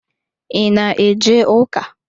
I ná eje ụka?